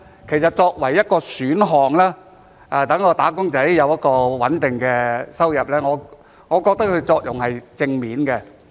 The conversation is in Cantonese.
其實作為一個選項，讓"打工仔"有穩定的收入，我覺得這是正面的。